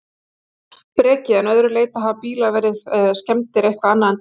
Breki: En að öðru leyti, hafa bílar verið, verið skemmdir eitthvað annað en dekk?